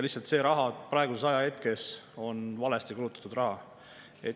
Lihtsalt see raha praegusel ajahetkel on valesti kulutatud raha.